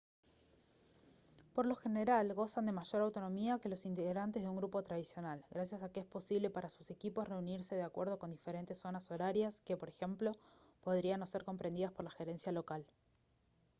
por lo general gozan de mayor autonomía que los integrantes de un grupo tradicional gracias a que es posible para sus equipos reunirse de acuerdo con diferentes zonas horarias que por ejemplo podrían no ser comprendidas por la gerencia local